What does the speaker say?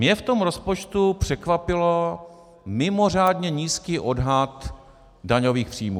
Mě v tom rozpočtu překvapil mimořádně nízký odhad daňových příjmů.